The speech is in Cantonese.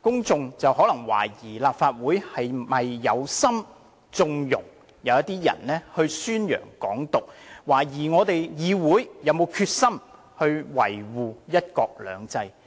公眾可能會懷疑立法會是否有意縱容某些人宣揚"港獨"，懷疑議會並無決心維護"一國兩制"。